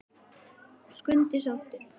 Skundi sóttur